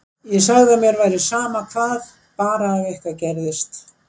Ég sagði að mér væri sama hvað, bara ef eitthvað gerðist.